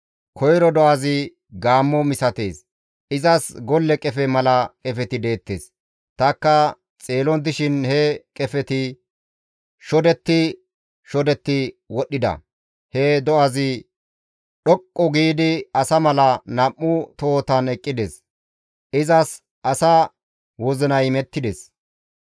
«Koyro do7azi gaammo misatees; izas golle qefe mala qefeti deettes; tanikka xeelon dishin he qefeti shodetti shodetti wodhdhida; he do7azi dhoqqu giidi asa mala nam7u tohotan eqqides; izas asa wozinay imettides.